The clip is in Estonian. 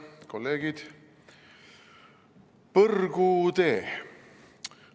Kolleegid!